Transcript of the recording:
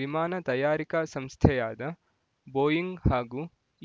ವಿಮಾನ ತಯಾರಿಕಾ ಸಂಸ್ಥೆಯಾದ ಬೋಯಿಂಗ್ ಹಾಗೂ